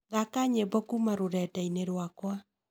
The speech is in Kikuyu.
thaka nyimbo kuma rũrenda-ini rwakwa